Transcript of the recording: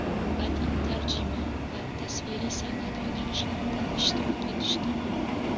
badiy tarjima va tasviriy san’at yo‘nalishlararida ishtirok etishdi.